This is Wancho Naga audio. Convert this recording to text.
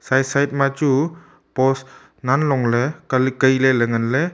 side side ma chu post nganlong ley kan kaile ley nganley.